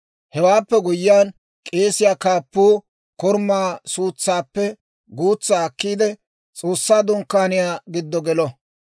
Hewaappe guyyiyaan, k'eesiyaa kaappuu korumaa suutsaappe guutsaa akkiide, S'oossaa Dunkkaaniyaa giddo gelo;